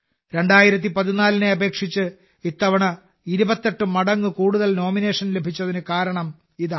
2014നെ അപേക്ഷിച്ച് ഇത്തവണ 28 മടങ്ങ് കൂടുതൽ നോമിനേഷനുകൾ ലഭിച്ചതിന് കാരണം ഇതാണ്